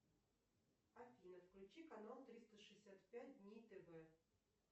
афина включи канал триста шестьдесят пять дней тв